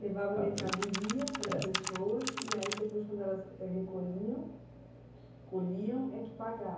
Levava mercadoria, é, para as pessoas e aí depois quando elas recolhiam, colhiam é que paga.